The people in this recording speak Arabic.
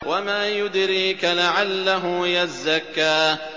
وَمَا يُدْرِيكَ لَعَلَّهُ يَزَّكَّىٰ